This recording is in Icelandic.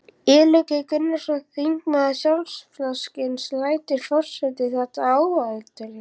Illugi Gunnarsson, þingmaður Sjálfstæðisflokksins: Lætur forseti þetta óátalið?